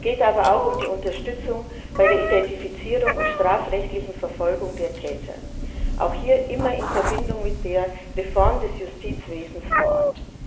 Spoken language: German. Es geht aber auch um die Unterstützung bei der Identifizierung und strafrechtlichen Verfolgung der Täter, auch hier immer in Verbindung mit der Reform des Justizwesens vor Ort.